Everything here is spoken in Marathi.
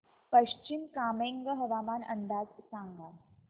पश्चिम कामेंग हवामान अंदाज सांगा